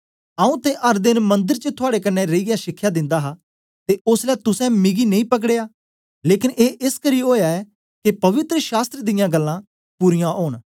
आऊँ ते अर देन मंदर च थुआड़े कन्ने रेईयै शिखया दिंदा हा ते ओसलै तुसें मिगी नेई पकड़या लेकन ए एसकरी ओया ऐ के पवित्र शास्त्र दियां गल्लां पूरीयां ओन